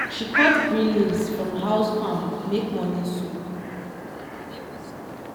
she cut green leaves from house farm make morning soup.